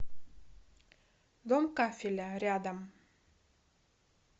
дом кафеля рядом